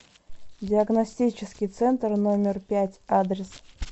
диагностический центр номер пять адрес